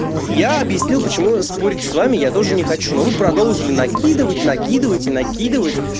я объяснил почему спорить с вами я тоже не хочу но вы продолжили накидывать накидывать и накидывать